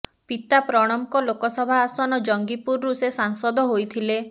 ପିତା ପ୍ରଣବଙ୍କ ଲୋକସଭା ଆସନ ଜଙ୍ଗିପୁରରୁ ସେ ସାଂସଦ ହୋଇଥିଲେ